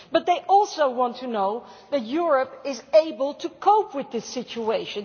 But they also want to know that Europe is able to cope with the situation.